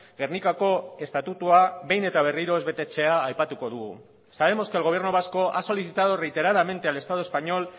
gernikako estatutua behin eta berriro ez betetzea aipatuko dugu sabemos que el gobierno vasco ha solicitado reiteradamente al estado español